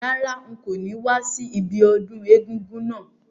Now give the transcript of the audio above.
Rárá, n ko ni wa si ibiodún egúngún náà